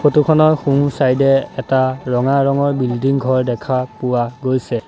Photo খনৰ সোঁ-চাইডে এ এটা ৰঙা ৰঙৰ বিল্ডিং ঘৰ দেখা পোৱা গৈছে।